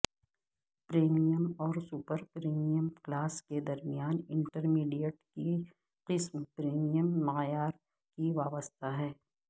premium اور super premium class کے درمیان انٹرمیڈیٹ کی قسم پریمیم معیار کی وابستہ ہے